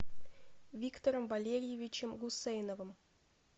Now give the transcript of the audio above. виктором валерьевичем гусейновым